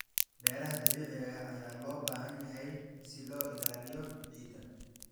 Beeraha dabiiciga ah ayaa loo baahan yahay si loo ilaaliyo ciidda.